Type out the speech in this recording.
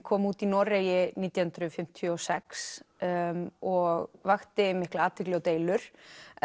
kom út í Noregi nítján hundruð fimmtíu og sex og vakti mikla athygli og deilur